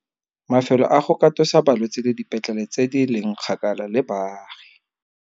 Mafelo a go katosa balwetse le dipetlele tse di leng kgakala le baagi.